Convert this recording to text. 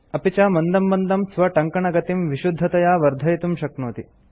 अपि च मन्दं मन्दं स्वटङ्कनगतिं विशुद्धतया वर्धयितुं शक्नोति